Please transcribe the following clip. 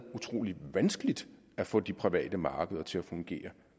utrolig vanskeligt at få de private markeder til at fungere